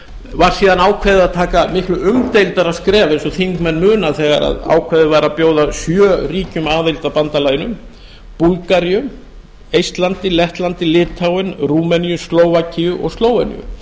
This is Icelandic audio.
var síðan ákveðið að taka miklu umdeildara skref eins og þingmenn muna þegar ákveðið var að bjóða sjö ríkjum aðild að bandalaginu búlgaríu eistlandi lettlandi litháen rúmeníu slóvakíu og slóveníu